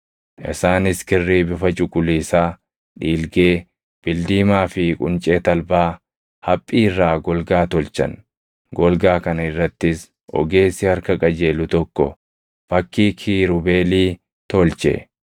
Isaanis kirrii bifa cuquliisaa, dhiilgee, bildiimaa fi quncee talbaa haphii irraa golgaa tolchan; golgaa kana irrattis ogeessi harka qajeelu tokko fakkii kiirubeelii tolche.